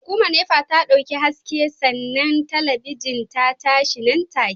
Hukumar NEPA ta dauki haske sannan talabijin ta tashi nan take